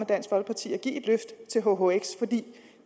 dansk folkeparti og give et løft til hhx fordi